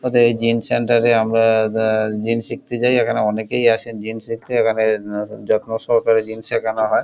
এদের এই gym centre এ আমরা জিম শিখতে যাই এখানে অনেকেই আসেন জিম শিখতে এখানে যত্ন সহকারে জিম সেখান হয়।